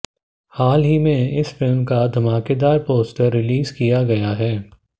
हाल ही में इस फिल्म का धमाकेदार पोस्टर रिलीज किया गया है